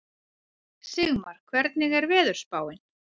Sigmar, hvernig er veðurspáin?